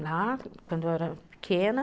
era pequena.